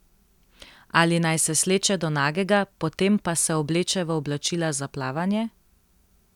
Ali naj se sleče do nagega, potem pa se obleče v oblačila za plavanje?